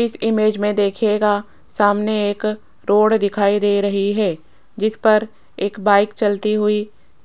इस इमेज मे दिखायेगा सामने एक रोड दिखाई दे रही है जिसपर एक बाइक चलती हुई